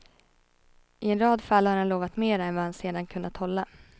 I en rad fall har han lovat mera än vad han sedan kunnat hålla.